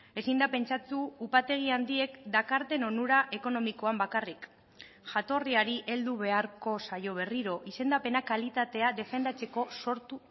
ezin da pentsatu upategi handiek dakarten onura ekonomikoan bakarrik jatorriari heldu beharko zaio berriro izendapena kalitatea defendatzeko sortu